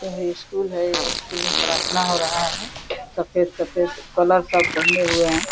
और ये स्कूल है ये स्कूल में प्रार्थना हो रहा है। सफेद-सफेद कलर सब पहने हुए हैं।